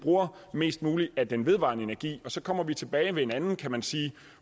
bruger mest muligt af den vedvarende energi og så kommer vi tilbage til en anden kan man sige